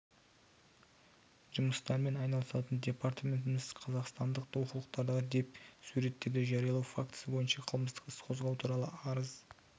жұмыстармен айналысатын департаментіміз қазақстандық оқулықтардағы деп суреттерді жариялау фактісі бойынша қылмыстық іс қозғау туралы арыз